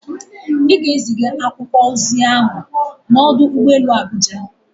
Ị ga-ezigara akwụkwọ ozi ahụ n'ọdụ ụgbọ elu Abuja!